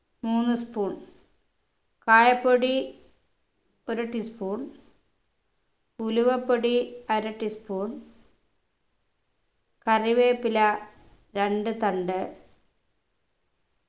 മൂന്നു spoon കായപ്പൊടി ഒരു tea spoon ഉലുവപ്പൊടി അര tea spoon കറിവേപ്പില രണ്ടു തണ്ട്